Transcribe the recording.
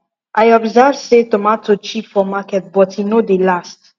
i observe say tomato cheap for market but e no dey last